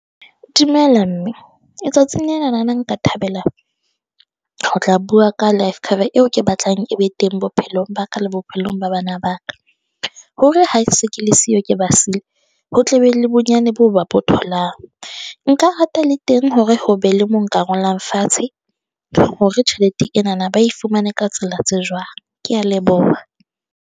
Dumela mme letsatsi lena na nka thabela ho tla bua ka life cover eo ke batlang e be teng bophelong ba ka le bophelong ba bana baka. Hore ha se ke le siyo, ke ba siile, ho tle be le bonyane boo ba bo tholang. Nka rata le teng hore ho be le mo nka ngolang fatshe hore tjhelete ena na ba e fumane ka tsela tse jwang. Ke a leboha.